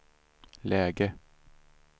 läge